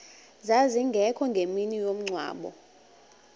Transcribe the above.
zazingekho ngemini yomngcwabo